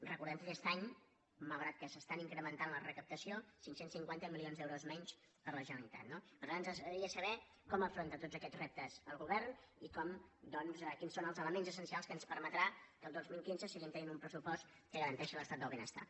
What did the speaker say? recordem que aquest any malgrat que s’està incrementant la recaptació cinc cents i cinquanta milions d’euros menys per a la generalitat no per tant ens agradaria saber com afronta tots aquests reptes el govern i quins són els elements essencials que ens permetran que el dos mil quinze seguim tenint un pressupost que garanteixi l’estat del benestar